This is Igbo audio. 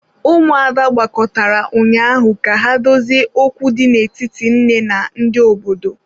Ụmụada gbakọtara ụnyaahụ ka ha dozie okwu dị n'etiti nne na ndị obodo.